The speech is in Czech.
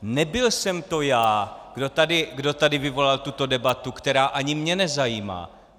Nebyl jsem to já, kdo tady vyvolal tuto debatu, která ani mě nezajímá.